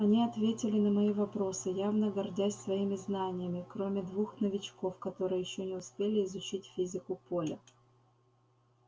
они ответили на мои вопросы явно гордясь своими знаниями кроме двух новичков которые ещё не успели изучить физику поля